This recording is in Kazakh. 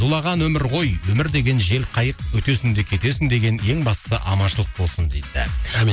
зулаған өмір ғой өмір деген желқайық өтесің де кетесің деген ең бастысы аманшылық болсын дейді амин